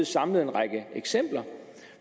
samlet en række eksempler